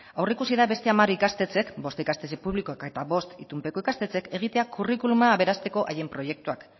aurreikusi da beste hamar ikastetxek bost ikastetxe eta bost itunpeko ikastetxek egitea curriculuma aberasteko hain proiektuak